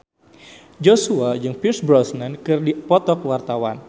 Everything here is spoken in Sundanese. Joshua jeung Pierce Brosnan keur dipoto ku wartawan